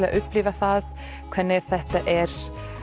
að upplifa það hvernig þetta er